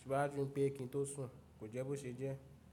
síwájú pé kí n tó sùn. Kò jẹ́ bó ṣe jẹ́.